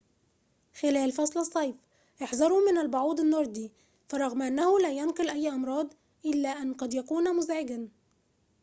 خلال فصل الصيف احذروا من البعوض النوردي فرغم أنه لا ينقل أي أمراض إلا أن قد يكون مزعجًا